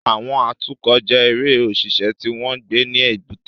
Àwọn atukọ̀ jẹ́ èèrà òṣìṣẹ́ tí wọ́n ń gbé ní èbúté